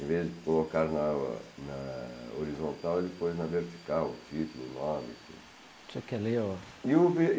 Em vez de colocar na na horizontal, ele pôs na vertical o título, o nome e tudo. Você quer ler o